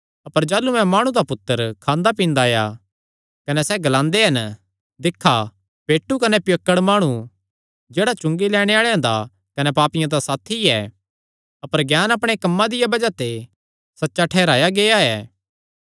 अपर जाह़लू मैं माणु दा पुत्तर खांदा पींदा आया कने सैह़ ग्लांदे हन दिक्खा पेटू कने पियक्कड़ माणु जेह्ड़ा चुंगी लैणे आल़ेआं दा कने पापियां दा साथी ऐ अपर ज्ञान अपणे कम्मां दिया बज़ाह ते सच्चा ठैहराया गेआ ऐ